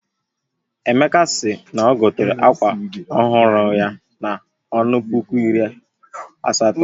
Emeka si n'ogotere akwa ọhụrụ ya na-ọnụ puku iri asatọ